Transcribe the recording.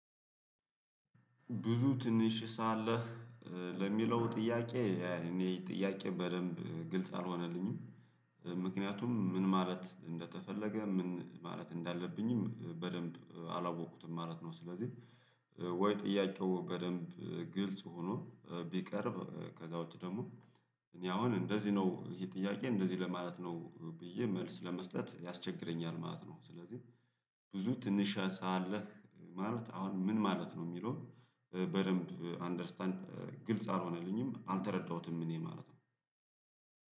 ብዙ ትንሽ ሳለህ ለሚለው ጥያቄ እኔ ጥያቄ በደንብ ግልጽ አልሆነልኝም ምክንያቱም ምን ማለት እንደተፈለገ ምን ማለት እንዳለብኝም በደንብ አላወቅኩም ማለት ነው። ስለዚህ ወይ ጥያቄው በደንብ ግልጽ ሆኖ ቢቀርብ ከዛ ውጪ ደግሞ። እኔ አሁን እንደዚህ ነው ይሄ ጥያቄ እንደዚህ ለማለት ነው ብዬ መልስ ለመስጠት ያስቸግረኛል ማለት ነው። ስለዚህ ብዙ ትንሽ ሳለህ ማለት አሁን ምን ማለት ነው የሚለውን በደንብ አንደርስታንድ ግልጽ አልሆነልኝም አልተረዳሁትም እኔ ማለት ነው